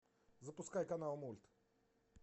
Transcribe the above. запускай канал мульт